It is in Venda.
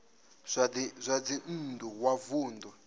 zwa dzinn ḓu wa vunḓu